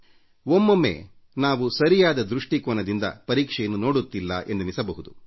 ಒಮ್ಮೊಮ್ಮೆ ನಾವು ಸರಿಯಾದ ದೃಷ್ಟಿಕೋನದಿಂದ ಪರೀಕ್ಷೆಯನ್ನು ನೋಡುತ್ತಿಲ್ಲ ಎಂದೆನಿಸಬಹುದು